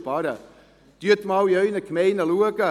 Schauen Sie sich einmal in Ihren Gemeinden um: